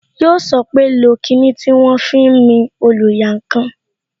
Yó sọ pé "lo kinni tí wọn fi ń mi oluyankan"